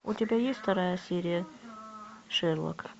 у тебя есть вторая серия шерлока